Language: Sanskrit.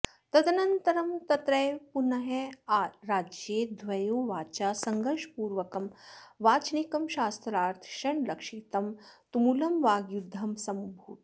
तदनन्तरं तत्रैव पूनाराज्ये द्वयोर्वाचा सङ्घर्षपूर्वकं वाचनिकं शास्त्रार्थ क्षणलक्षितं तुमुलं वाग्युद्धं समभूत्